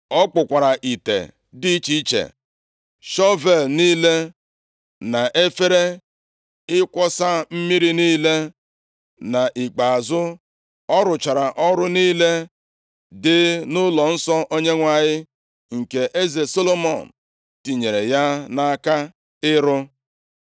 Ọ kpụkwara ite dị iche iche, shọvel niile, na efere ịkwọsa mmiri niile. Nʼikpeazụ, ọ rụchara ọrụ niile dị nʼụlọnsọ Onyenwe anyị, nke eze Solomọn tinyere ya nʼaka ịrụ.